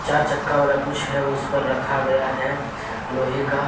चार चक्का वाला कुछ है उस पर रखा गया है लोहे का।